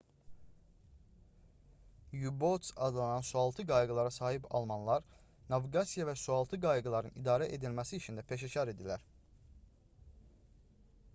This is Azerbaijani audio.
u-boats adlanan sualtı qayıqlara sahib almanlar naviqasiya və sualtı qayıqların idarə edilməsi işində peşəkar idilər